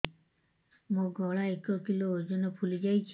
ମୋ ଗଳା ଏକ କିଲୋ ଓଜନ ଫୁଲି ଯାଉଛି